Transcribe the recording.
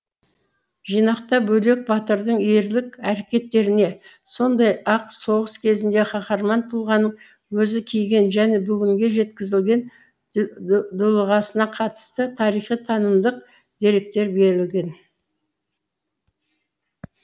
жинақта бөлек батырдың ерлік әрекеттеріне сондай ақ соғыс кезінде қаһарман тұлғаның өзі киген және бүгінге жеткізілген дулығасына қатысты тарихи танымдық деректер берілген